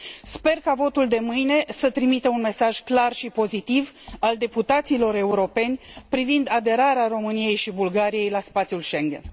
Sper ca votul de mâine să trimită un mesaj clar și pozitiv al deputaților europeni privind aderarea României și Bulgariei la spațiul Schengen.